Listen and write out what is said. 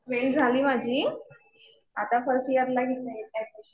Twelfth झाली माझी. आता फर्स्ट इयरला घेतलं ऍडमिशन.